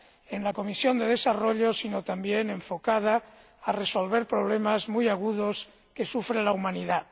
en la Comisión de Desarrollo, sino también enfocada a resolver problemas muy agudos que sufre la humanidad.